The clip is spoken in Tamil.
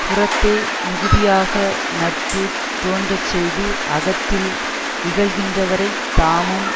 புறத்தே மிகுதியாக நட்பு தோன்றச் செய்து அகத்தில் இகழ்கின்றவரைத் தாமும்